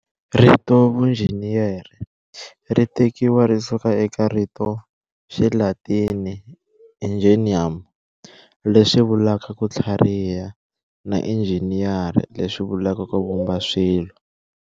Rito vunjhiniyera, ritekiwa risuka eka rito ra Xilatini "ingenium", leswivulaka "Kuthlariha" na "ingeniare", leswivulaka "ku vumba, swilo".